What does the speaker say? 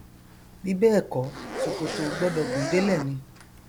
bí bẹẹkọ ṣòkòtò o gbọdọ gùn délẹ ni